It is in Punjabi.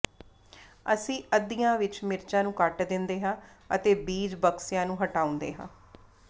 ਅਸੀਂ ਅੱਧਿਆਂ ਵਿਚ ਮਿਰਚਾਂ ਨੂੰ ਕੱਟ ਦਿੰਦੇ ਹਾਂ ਅਤੇ ਬੀਜ ਬਕਸਿਆਂ ਨੂੰ ਹਟਾਉਂਦੇ ਹਾਂ